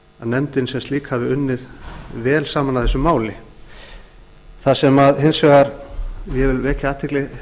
nefndin sem slík hafi unnið vel saman að þessu máli það sem ég vil hins vegar vekja athygli